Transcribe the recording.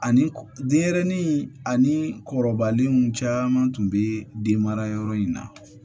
Ani denyɛrɛnin ani kɔrɔbalenw caman tun bɛ den mara yɔrɔ in na